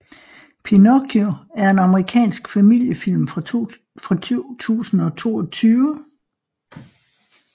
Pinocchio er en amerikansk familiefilm fra 2022